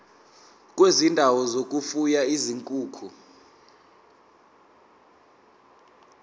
kwezindawo zokufuya izinkukhu